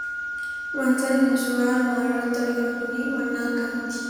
Wantan ani suuraa armaan oliitti arginu kunii wanna akkamiiti?